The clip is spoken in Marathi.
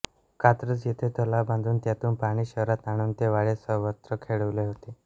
कात्रज येथे तलाव बांधून त्यातून पाणी शहरात आणून ते वाड्यात सर्वत्र खेळविले होते